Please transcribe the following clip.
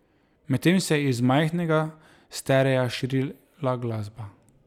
Medtem se je iz majhnega sterea širila glasba.